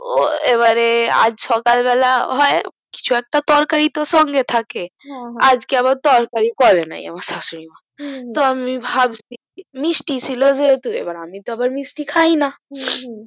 তো এবারে আজ সকাল বেলা হয় কিছু একটা তরকারি তো সঙ্গে থাকে আজকে আবার তরকারি করে নাই আমার শাশুরি মা তো আমি ভাবছি মিষ্টি ছিল যেহতু আমি তো আবার মিষ্টি তো খাই না